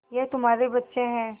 ये तुम्हारे बच्चे हैं